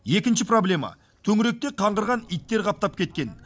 екінші проблема төңіректе қаңғырған иттер қаптап кеткен